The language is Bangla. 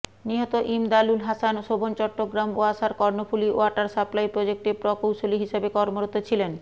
নিহত ইমদাদুল হাসান শোভন চট্টগ্রাম ওয়াসার কর্ণফুলি ওয়াটার সাপ্লাই প্রজেক্টে প্রকৌশলী হিসেবে কর্মরত ছিলেন